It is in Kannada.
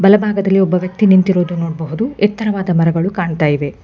ಬಲಭಾಗದಲ್ಲಿ ಒಬ್ಬ ವ್ಯಕ್ತಿ ನಿಂತಿರೋದು ನೋಡಬಹುದು ಎತ್ತರವಾದ ಮರಗಳು ಕಾಣ್ತಾ ಇವೆ.